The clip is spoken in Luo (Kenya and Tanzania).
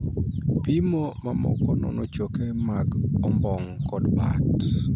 Pimo mamoko nono choke mag ombong' kod bat.